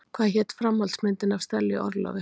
Hvað hét framhaldsmyndin af Stellu í orlofi?